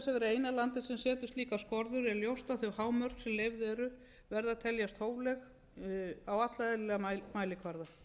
eina landið sem setur slíkar skorður er ljóst að þau hámörk sem leyfð eru verða að teljast hófleg á alla eðlilega mælikvarða